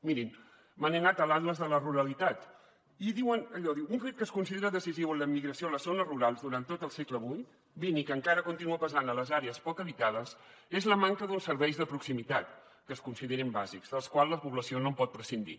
mirin me n’he anat a l’considera decisiu en l’emigració en les zones rurals durant tot el segle xx i que encara que continua pesant a les àrees poc habitades és la manca d’uns serveis de proximitat que es considerin bàsics dels quals la població no pot prescindir